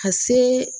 Ka se